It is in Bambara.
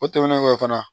O tɛmɛnen kɔfɛ fana